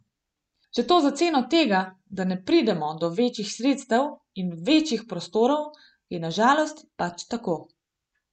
Če to za ceno tega, da ne pridemo do večjih sredstev in večjih prostorov, je na žalost pač tako.